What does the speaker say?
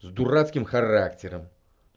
с дурацким характером